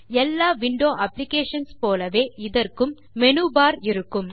எல்லா window applications போலவே இதற்கும் மேனு பார் இருக்கும்